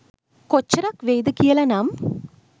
කොච්චරක් වෙයිද කියලනම්.